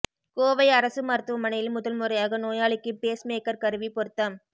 கோவை அரசு மருத்துவமனையில் முதல்முறையாக நோயாளிக்கு பேஸ் மேக்கா் கருவி பொருத்தம்